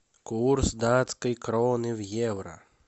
курс датской кроны в евро